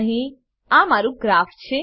અહીં આ મારું ગ્રાફ છે